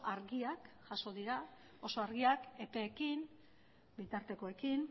argiak jaso dira oso argiak epeekin bitartekoekin